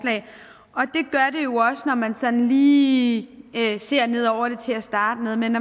når man sådan lige ser ned over det til at starte med men